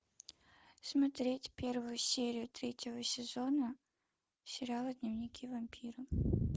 смотреть первую серию третьего сезона сериала дневники вампира